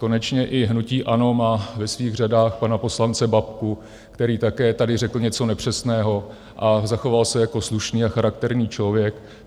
Konečně i hnutí ANO má ve svých řadách pana poslance Babku, který také tady řekl něco nepřesného, a zachoval se jako slušný a charakterní člověk.